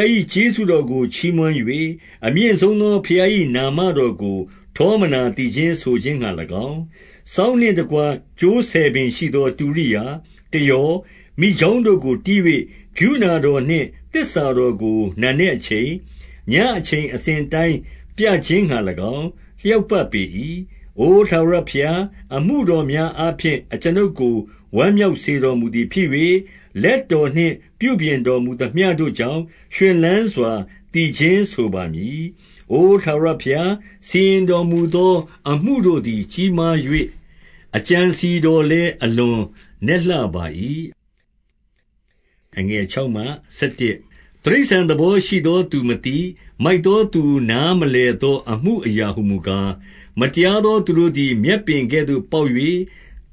ား၏ ကျေးဇူးတော်ကို ချီးမွမ်း၍၊ အမြင့်ဆုံးသောဘုရား၏ နာမတော်ကို ထောမနာသီချင်းဆိုခြင်းငှါ၎င်း၊ စောင်းနှင့်တကွ ကြိုးဆယ်ပင်ရှိသော တူရိယာ၊ တယော၊ မိကျောင်းတို့ကို တီးခတ်၍၊ ကရုဏာတော်နှင့် သစ္စာတော်ကို နံနက်အချိန်၊ ညအချိန်အစဉ်အတိုင်း ပြခြင်းငှါ၎င်း လျောက်ပတ်ပေ၏။ အို ထာဝရဘုရား၊ အမှုတော်များအားဖြင့် အကျွန်ုပ်ကို ဝမ်းမြောက်စေတော်မူသည်ဖြစ်၍၊ လက် တော်နှင့် ပြုပြင်တော်မူသမျှတို့ကြောင့် ရွှင်လန်းစွာ သီချင်းဆိုပါမည်။ အို ထာဝရဘုရား၊ စီရင်တော်မူသော အမှုတို့ သည် ကြီးမား၍၊ အကြံအစည်တော်လည်း အလွန် နက်လှပါ၏။ တိရစ္ဆာန် သဘောရှိသော သူမသိ၊ မိုက်သောသူ နားမလည်သော အမှုအရာဟူမူကား၊ မတရားသော သူတို့သည် မြက်ပင်ကဲ့သို့ ပေါက် ၍၊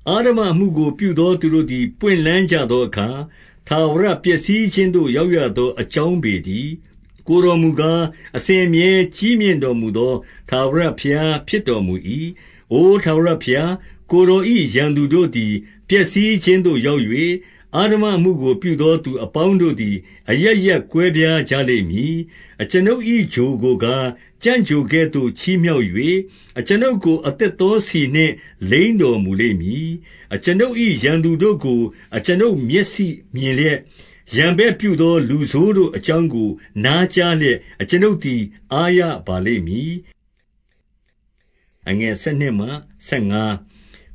အဓမ္မအမှုကို ပြုသော သူတို့သည် ပွင့်လန်းကြသော အခါ၊ ထာဝရပျက်စီးခြင်းသို့ ရောက်ရသော အကြောင်း ပေတည်း။ ကိုယ်တော်မူကား၊ အစဉ်အမြဲ ကြီးမြင့်တော်မူ သော ထာဝရဘုရား ဖြစ်တော်မူ၏။ အိုထာဝရဘုရား၊ ကိုယ်တော်၏ ရန်သူတို့သည် ပျက်စီးခြင်းသို့ ရောက်၍၊ အဓမ္မအမှုကိုပြုသောသူ အပေါင်းတို့သည် အရပ်ရပ်ကွဲပြားကြလိမ့်မည်။ အကျွန်ုပ်၏ ချိုကိုကား၊ ကြံ့ချိုကဲ့သို့ ချီးမြှောက်၍၊ အကျွန်ုပ်ကို အသစ်သောဆီနှင့် လိမ်းတော်မူလိမ့်မည်။ အကျွန်ုပ်၏ ရန်သူတို့ကို အကျွန်ုပ်မျက်စိ မြင်လျက်၊ ရန်ဘက်ပြုသော လူဆိုးတို့အကြောင်းကို နားကြားလျက်၊ အကျွန်ုပ်သည် အားရပါလိမ့်မည်။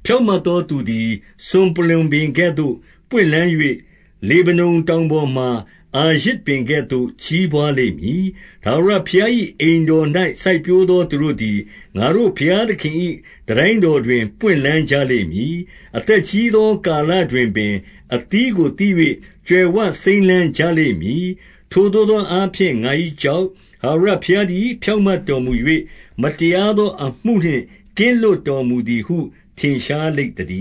ဖြောင့်မတ်သောသူသည် စွန်ပလွံပင်ကဲ့သို့ ပွင့်လန်း၍ လေဗနုန်တောင်ပေါ်မှာ အာရဇ်ပင်ကဲ့သို့ ကြီးပွားလိမ့်မည်။ ထာဝရဘုရား၏ အိမ်တော်၌ စိုက်ပျိုးသော သူတို့သည် ငါတို့ဘုရားသခင်၏ တန်တိုင်းတော်တွင် ပွင့်လန်းကြလိမ့်မည်။ အသက်ကြီးသောကာလတွင်ပင်၊ အသီးကိုသီး၍ ကြွယ်ဝစိမ်းလန်းကြလိမ့်မည်။ ထိုသို့သောအားဖြင့် ငါ၏ကျောက်၊ ထာဝရ ဘုရားသည် ဖြောင့်မတ်တော်မူ၍၊ မတရားသော အမှုနှင့် ကင်းလွတ်တော်မူသည်ဟု ထင်ရှားလိမ့်သတည